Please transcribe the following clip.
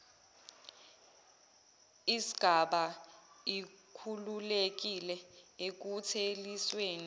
isgaba ikhululekile ekuthelisweni